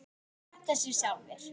skammta sér sjálfir